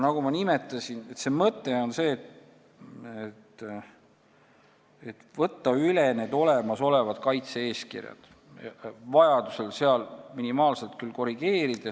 Nagu ma nimetasin, mõte on see, et võtta üle olemasolevad kaitse-eeskirjad ja neid vajadusel minimaalselt korrigeerida.